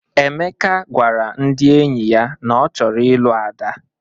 Emeka gwara ndị enyi ya na ọ chọrọ ịlụ Ada.